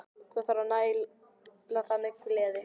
Það á að mæla það í gleði.